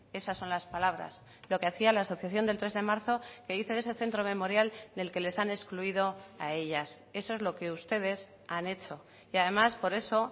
esas son las palabras lo que hacía la asociación del tres de marzo que dice de ese centro memorial del que les han excluido a ellas eso es lo que ustedes han hecho y además por eso